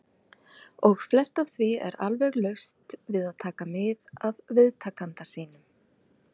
. og flest af því er alveg laust við að taka mið af viðtakanda sínum.